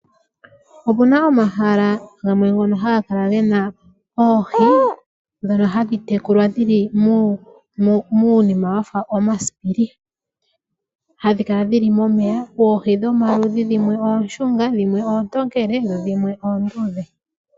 Opuna omahala gamwe ngono haga kala gena oohi ndhono hadhi tekulwa dhili muunima wafa omasipili, hadhi kala dhili momeya. Oohi dhomaludhi dhimwe oonshunga, dhimwe oontokele nadhimwe onduudhe.